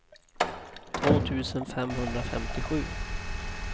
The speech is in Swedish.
två tusen femhundrafemtiosju